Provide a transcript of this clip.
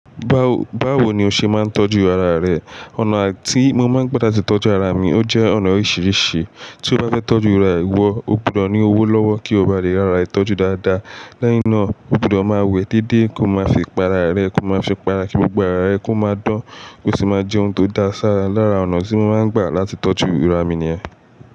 Báwo ni o ṣe máa ń tọ́jú ara rẹ? Ọ̀nà tí mo máa ń gbà dá ti tọ́jú ara mi ó jẹ́ ọ̀nà oríṣiríṣi. Tí o bá fẹ́ tọ́jú ìrà wọ, o gbọdọ̀ ní owó lọ́wọ́ kí o ba lè ra àrà ẹ tọ́jú dáadáa. Lẹ́yìn náà, o gbọdọ̀ máa wẹ́ déédéé kí o máa fi pa ara rẹ, kí o máa fipara kí gbogbo ara ẹ kó máa dán, kó sì máa jẹ́ ohun tó dáa. Sára lára ọ̀nà tí mo máa ń gbà láti tọ́jú ìrà mi ni ẹ́.